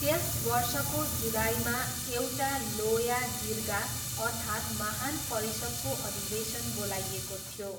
त्यस वर्षको जुलाईमा, एउटा लोया जिर्गा अर्थात् महान परिषदको अधिवेशन बोलाइएको थियो।